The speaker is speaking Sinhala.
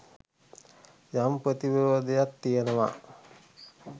යම් ප්‍රතිවිරෝධයක් තියෙනවා.